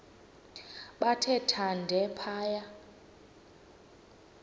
bathe thande phaya